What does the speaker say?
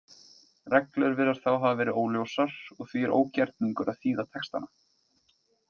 Reglur virðast þá hafa verið óljósar og því er ógerningur að þýða textana.